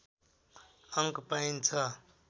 अङ्क पाइन्छ